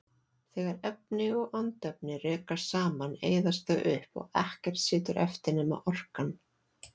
Þegar efni og andefni rekast saman eyðast þau upp og ekkert situr eftir nema orkan.